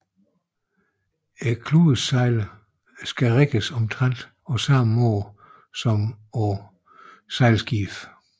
Kludesejlene skal rigges omtrent på samme måde som på sejlskibene